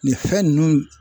Nin fɛn ninnu